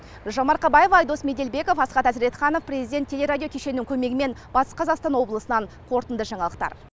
гүлжан марқабаева айдос меделбеков асхат азретханов президент телерадио кешенінің көмегімен батыс қазақстан облысынан қорытынды жаңалықтар